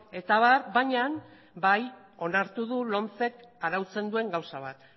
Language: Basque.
eta abar baina bai onartu du lomcek arautzen duen gauza bat